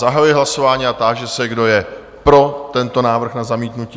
Zahajuji hlasování a táži se, kdo je pro tento návrh na zamítnutí?